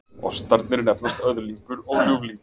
Ostarnir nefnast Öðlingur og Ljúflingur